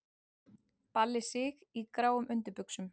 Balli Sig í gráum undirbuxum!!!